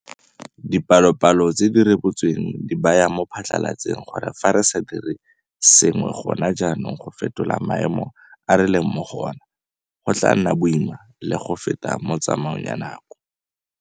Dipalopalo tse di rebotsweng di baya mo phatlalatseng gore fa re sa dire sengwe gona jaanong go fetola maemo a re leng mo go ona, go tla nna boima le go feta mo tsamaong ya nako.